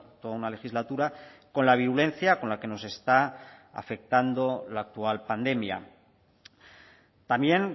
toda una legislatura con la virulencia con la que nos está afectando la actual pandemia también